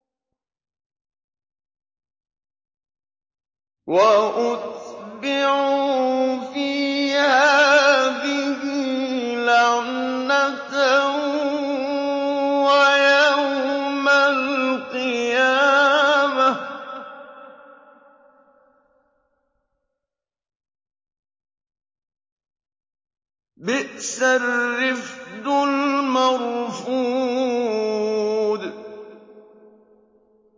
وَأُتْبِعُوا فِي هَٰذِهِ لَعْنَةً وَيَوْمَ الْقِيَامَةِ ۚ بِئْسَ الرِّفْدُ الْمَرْفُودُ